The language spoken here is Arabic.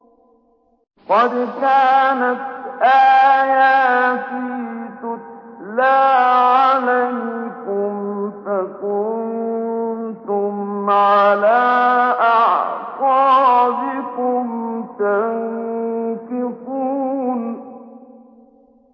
قَدْ كَانَتْ آيَاتِي تُتْلَىٰ عَلَيْكُمْ فَكُنتُمْ عَلَىٰ أَعْقَابِكُمْ تَنكِصُونَ